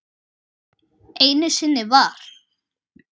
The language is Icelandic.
Einu sinni var.